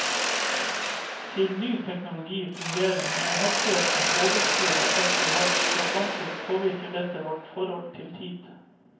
Siden ny teknologi fungerer med en hastighet som overskrider alt vi har vært vant til, påvirker dette vårt forhold til tid.